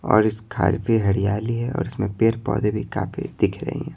और इस खालफी हरियाली है और इसमें पेड़ पौधे भी काफी दिख रहे हैं।